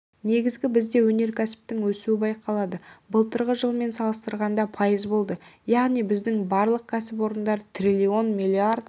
негізгі бізде өнеркәсіптің өсуі байқалады былтырғы жылмен салыстырғанда пайыз болды яғни біздің барлық кәсіпорындар триллион млрд